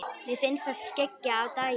Mér finnst það skyggja á daginn.